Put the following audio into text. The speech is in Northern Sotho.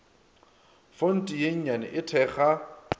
fonte ye nnyane e thekga